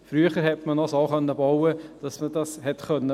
Früher konnte man noch so bauen, dass man dies auffangen konnte.